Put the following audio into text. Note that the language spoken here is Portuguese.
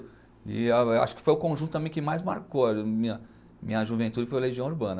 E acho que foi o conjunto também que mais marcou a minha minha juventude foi o Legião Urbana.